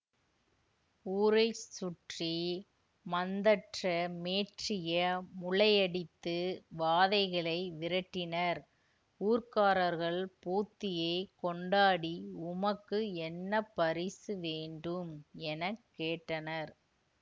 ஊரை சுற்றி மந்தற்றமேற்றிய முளையடித்து வாதைகளை விரட்டினர் ஊர்க்காரர்கள் போத்தியைக் கொண்டாடி உமக்கு என்ன பரிசு வேண்டும் என கேட்டனர்